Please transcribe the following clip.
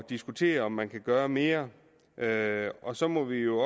diskutere om man kan gøre mere og så må vi jo